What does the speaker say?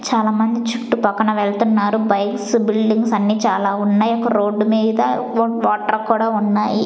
చాలా మంది చుట్టుపక్కన వెళ్తున్నారు బైక్స్ బిల్డింగ్స్ అన్ని చాలా ఉన్నాయి ఒక రోడ్డు మీద ఓట్ వాటర్ కూడా ఉన్నాయి.